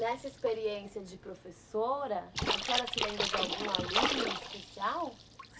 Nessa experiência de professora, a senhora se lembra de algum aluno especial?